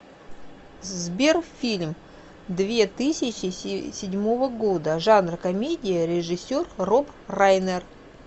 сбер фильм две тысячи седьмого года жанр комедия режиссер роб райнер